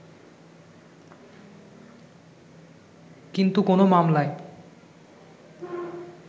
কিন্তু কোন মামলায়